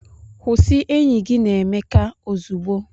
Kwụsị enyi gị na Emeka ozugbo!